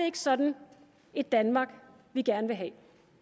ikke sådan et danmark vi gerne vil have